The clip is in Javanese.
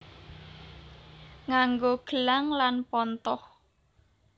Nganggo gelang lan pontoh